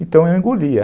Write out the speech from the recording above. Então eu engolia.